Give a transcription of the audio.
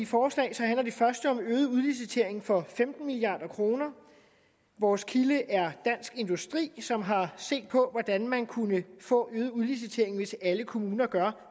forslag så handler det første om øget udlicitering for femten milliard kroner vores kilde er dansk industri som har set på hvordan man kunne få øget udlicitering hvis alle kommuner gjorde